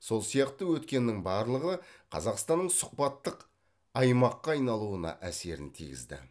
сол сияқты өткеннің барлығы қазақстанның сұхбаттық аймаққа айналуына әсерін тигізді